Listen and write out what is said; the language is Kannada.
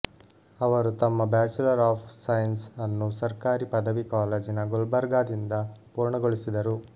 ಅವರು ತಮ್ಮ ಬ್ಯಾಚುಲರ್ ಆಫ್ ಸೈನ್ಸ್ ಅನ್ನು ಸರ್ಕಾರಿ ಪದವಿ ಕಾಲೇಜಿನ ಗುಲ್ಬರ್ಗಾದಿಂದ ಪೂರ್ಣಗೊಳಿಸಿದರು